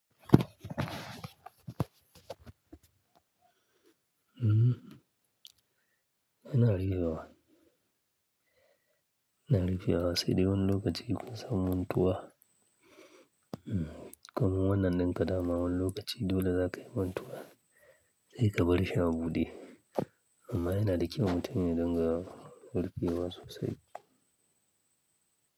Ina rufewa--ina rufewa sai dai wani lokaci kun san mantuwa. Kamun wannan nin ƙa dama wani lokaci dole za ka yi mantuwa, sai ka barshi a bude. Amma yana da kyau mutum ya ringa rufewa sosai.